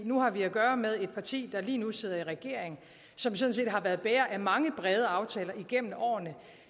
nu har vi at gøre med et parti der lige nu sidder i regering og som sådan set har været bærer af mange brede aftaler igennem årene